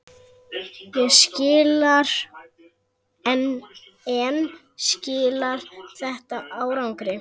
En skilar þetta árangri?